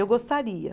Eu gostaria.